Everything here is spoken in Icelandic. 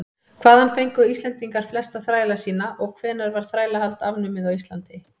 hvaðan fengu íslendingar flesta þræla sína og hvenær var þrælahald afnumið á íslandi